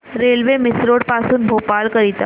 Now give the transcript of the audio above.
railway Misrod पासून भोपाळ करीता